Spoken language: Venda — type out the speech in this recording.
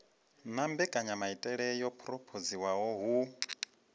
na mbekanyamaitele yo phurophoziwaho hu